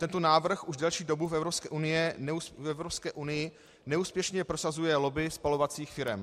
Tento návrh už delší dobu v Evropské unii neúspěšně prosazuje lobby spalovacích firem.